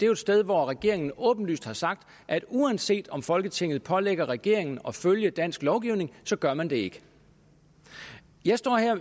jo et sted hvor regeringen åbenlyst har sagt at uanset om folketinget pålægger regeringen at følge dansk lovgivning gør man det ikke jeg står her